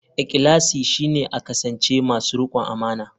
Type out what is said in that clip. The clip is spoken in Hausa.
Ikhlasi shine a kasance masu rikon amana.